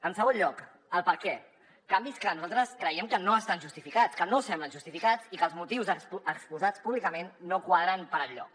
en segon lloc el perquè canvis que nosaltres creiem que no estan justificats que no semblen justificats i els motius exposats públicament no quadren per enlloc